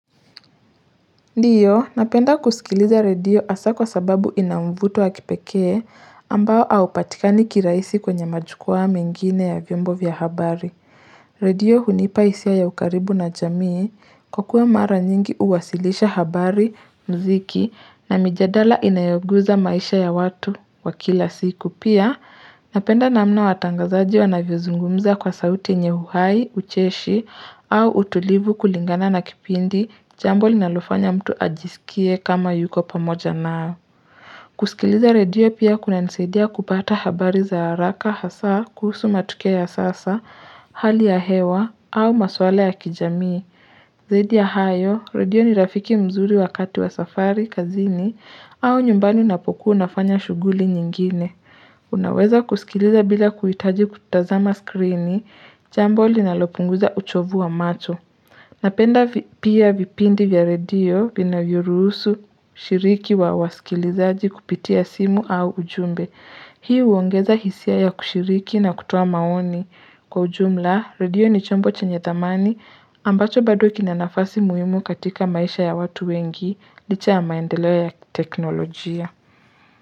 Ndio, napenda kusikiliza radio hasa kwa sababu ina mvuto wa kipekee ambao haupatikani kirahisi kwenye majukwa mengine ya vyombo vya habari. Radio hunipa hisia ya ukaribu na jamii kwa kwe mara nyingi uwasilisha habari, mziki na mijadala inayoguza maisha ya watu wa kila siku. Pia, napenda namna watangazaji wanavyozungumza kwa sauti yenye uhai, ucheshi au utulivu kulingana na kipindi. Jambo linalofanya mtu ajisikie kama yuko pamoja nao. Kusikiliza radio pia kunanisadia kupata habari za haraka hasaa kuhusu matokea ya sasa, hali ya hewa au maswala ya kijamii. Zaidi ya hayo, radio ni rafiki mzuri wakati wa safari, kazini au nyumbani unapokuwa unafanya shughuli nyingine. Unaweza kusikiliza bila kuhitaji kutazama skrini, jambo linalopunguza uchovu wa macho Napenda pia vipindi vya radio vinavyoruhusu ushiriki wa wasikilizaji kupitia simu au ujumbe Pia huongeza hisia ya kushiriki na kutua maoni Kwa ujumla. Radio ni chombo chenye dhamani ambacho bado kina nafasi muhimu katika maisha ya watu wengi licha ya maendeleo ya teknolojia.